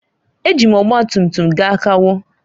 Eji m ọgba tum tum gaa kawo.